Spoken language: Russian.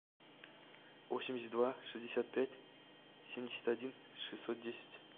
восемьдесят два шестьдесят пять семьдесят один шестьсот десять